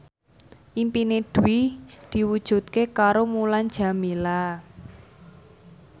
impine Dewi diwujudke karo Mulan Jameela